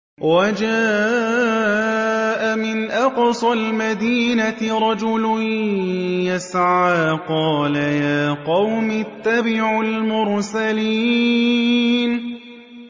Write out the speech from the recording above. وَجَاءَ مِنْ أَقْصَى الْمَدِينَةِ رَجُلٌ يَسْعَىٰ قَالَ يَا قَوْمِ اتَّبِعُوا الْمُرْسَلِينَ